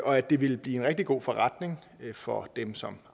og at det ville blive en rigtig god forretning for dem som